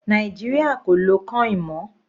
Nàìjíríà kò lọ coin mọ́.